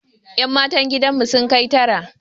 Yan matan gidan mu sun kai tara